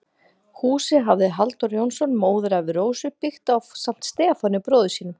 Húsið hafði Halldór Jónsson, móðurafi Rósu, byggt ásamt Stefáni, bróður sínum.